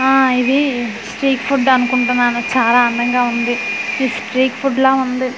ఆ ఇది street food అనుకుంటున్నాను చాలా అందంగా ఉంది ఈ స్ట్రీట్ ఫుడ్ లా ఉంది.